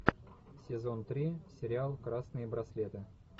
сезон три сериал красные браслеты